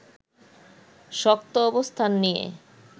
শক্ত অবস্থান নিয়ে